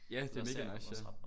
Ja det er mega nice ja